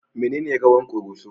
Menene rawan Koroso?